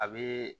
A bɛ